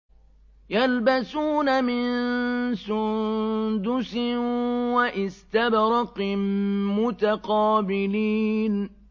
يَلْبَسُونَ مِن سُندُسٍ وَإِسْتَبْرَقٍ مُّتَقَابِلِينَ